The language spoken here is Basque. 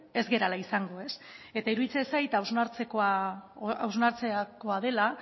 ez garela izango eta iruditzen zait hausnartzekoa dela